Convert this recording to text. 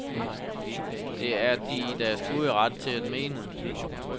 Det er de i deres gode ret til at mene.